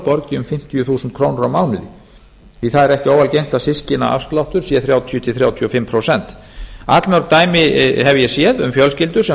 borgi um fimmtíu þúsund krónur á mánuði því að ekki er óalgengt að systkinaafsláttur sé þrjátíu til þrjátíu og fimm prósent allmörg dæmi hef ég séð um fjölskyldur sem